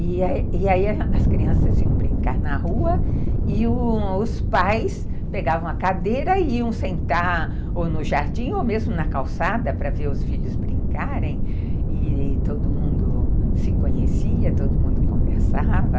E e aí as crianças iam brincar na rua e os pais pegavam a cadeira e iam sentar ou no jardim ou mesmo na calçada para ver os filhos brincarem e todo mundo se conhecia, todo mundo conversava.